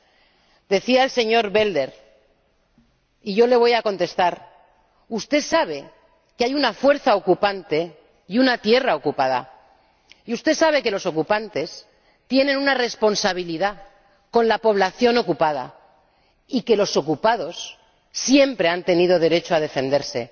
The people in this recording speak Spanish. Voy a contestar al señor Belder usted sabe que hay una fuerza ocupante y una tierra ocupada, y usted sabe que los ocupantes tienen una responsabilidad con la población ocupada, y que los ocupados siempre han tenido derecho a defenderse.